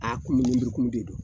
A kumu lenburukumu de don